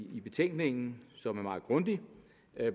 betænkningen som er meget grundig